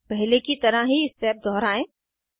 पहले की तरह ही स्टेप दोहराएं